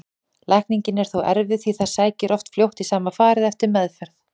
Lækning er þó erfið því það sækir oft fljótt í sama farið eftir meðferð.